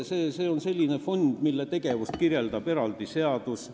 See on selline fond, mille tegevust kirjeldab eraldi seadus.